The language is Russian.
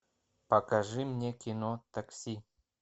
покажи мне кино такси